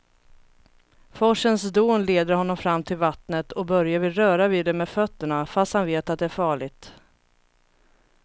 Forsens dån leder honom fram till vattnet och Börje vill röra vid det med fötterna, fast han vet att det är farligt.